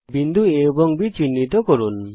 বিন্দু A এবং Bকে চিহ্নিত করুন